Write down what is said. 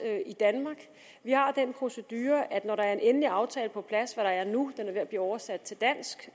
i danmark vi har den procedure at når der er en endelig aftale på plads hvad der er nu den er ved at blive oversat til dansk